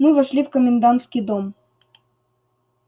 мы вошли в комендантский дом